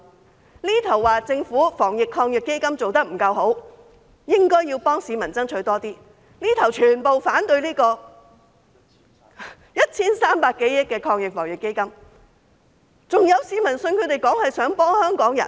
這邊廂說政府的防疫抗疫基金做得不夠好，應該要幫市民爭取更多，那邊廂則全部反對 1,300 多億元的防疫抗疫基金，這樣還有市民相信他們是想幫香港人？